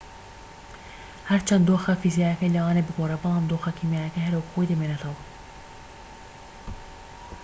هەرچەندە دۆخە فیزیکیەکەی لەوانەیە بگۆڕێت بەڵام دۆخە کیمیاییەکەی هەر وەك خۆی دەمێنێتەوە